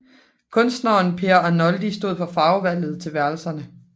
Kunstneren Per Arnoldi stod for farvevalget til værelserne